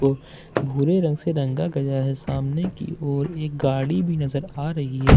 ब भूरे रंग से रंगा गया है सामने की ओर एक गाड़ी भी नजर आ रही है आ --